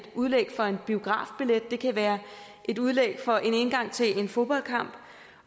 udlæg for en biografbillet det kan være et udlæg for en indgang til en fodboldkamp